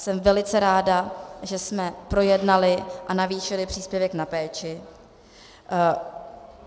Jsem velice ráda, že jsme projednali a navýšili příspěvek na péči.